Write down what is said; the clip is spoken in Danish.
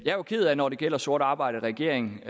er jo ked af når det gælder sort arbejde at regeringen